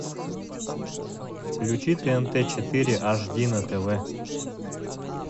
включи тнт четыре аш ди на тв